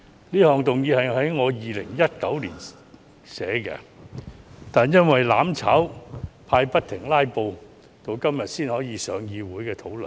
這項議案是我在2019年草擬的，但因為"攬炒派"不停"拉布"，直至今天才能在立法會會議上討論。